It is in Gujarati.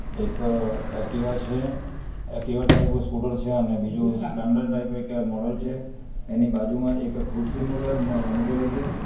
એક અહ એકટીવા છે એક્ટિવા ટાઇપ સ્કૂટર છે અને બીજું સ્પલેન્ડર ટાઇપ એક મોડલ છે એની બાજુમાં એક ખુરશી મૂકે મુકેલી છે.